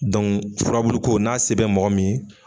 furabulu ko n'a se bɛ mɔgɔ min ye